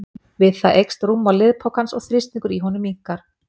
við það eykst rúmmál liðpokans og þrýstingur í honum minnkar